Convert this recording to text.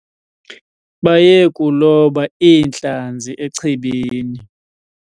Baye kuloba iintlanzi echibini.